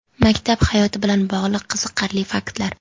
Maktab hayoti bilan bog‘liq qiziqarli faktlar.